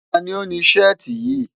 Ta ni ó ni Ṣẹ́ẹ̀tì yìí?